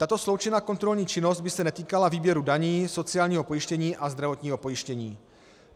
Tato sloučená kontrolní činnost by se netýkala výběru daní, sociálního pojištění a zdravotního pojištění.